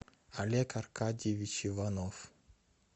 олег аркадьевич иванов